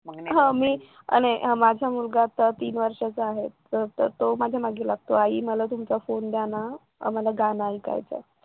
आणि माझा मुलगा आता तीन वर्षाचा आहे माझ्या मागे लागतो आई मला तुमचा फोन द्या ना आम्हाला गाणं ऐकायचं